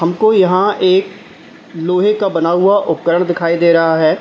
हमको यहां एक लोहे का बना हुआ उपकरण दिखाई दे रहा है।